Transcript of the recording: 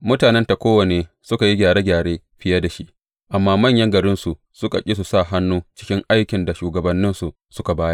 Mutanen Tekowa ne suka yi gyare gyare biye da shi, amma manyan garinsu suka ƙi su sa hannu cikin aikin da shugabanninsu suka bayar.